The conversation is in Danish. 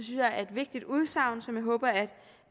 jeg er et vigtigt udsagn som jeg håber at